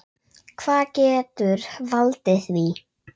Hvað getur valdið því?